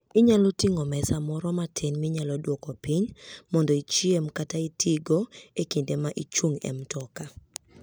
Inyalo ting'o mesa moro matin minyalo duoko piny mondo ichiem kata itigo e kinde ma ichung' e mtoka.